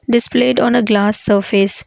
displayed on a glass surface.